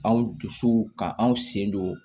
Anw dusu ka anw sen don